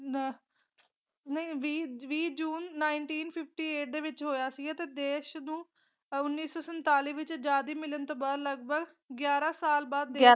ਆਹ ਨਹੀਂ ਵੀਹ ਵੀਹ ਜੂਨ ਨਾਏੰਟੀਨ ਫਿਫਟੀ ਏਟ ਦੇ ਵਿਚ ਹੋਇਆ ਸੀ ਤੇ ਦੇਸ਼ ਨੂੰ ਉਨੀ ਸੌ ਸੰਤਾਲੀ ਵਿਚ ਅਜਾਦੀ ਮਿਲਣ ਤੋਂ ਬਾਅਦ ਲੱਗਭਗ ਗਿਆਰਾ ਸਾਲ ਬਾਅਦ ਦੇਸ਼